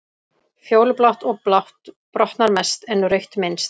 Fjólublátt og blátt brotnar mest en rautt minnst.